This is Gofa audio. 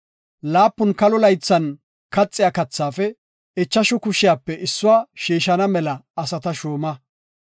Laapun kalo laythan kaxiya kathaafe ichashu kushiyape issuwa shiishana asata shuuma.